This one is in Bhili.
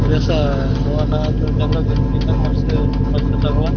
पोरया सा रवाना जंगल दिसतात एक मस्त मस्त चांगल --